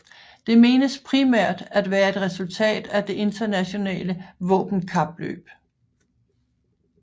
Det menes primært at være et resultat af det internationale våbenkapløb